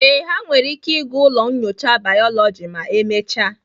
Ee, ha nwere ike ịga ụlọ nyocha bayoloji ma emechaa